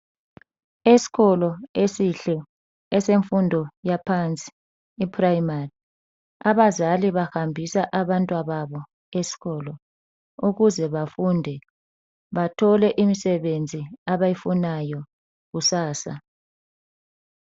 Eskolo esihle esemfundo yaphansi ye primary .Abazali bahambisa abantwababo eskolo ukuze bafunde bathole imisebenzi abayifunayo kusasa.